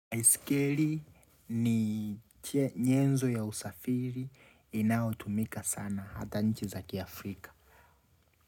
Baiskeli ni nyenzo ya usafiri inayotumika sana hata nchi za ki Afrika.